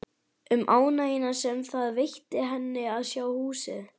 Um ánægjuna sem það veitti henni að sjá húsið.